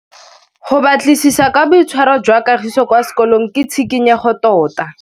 Go batlisisa ka boitshwaro jwa Kagiso kwa sekolong ke tshikinyêgô tota.